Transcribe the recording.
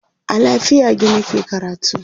a lafiagi nake karatu